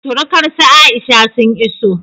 surukar su Aisha sun iso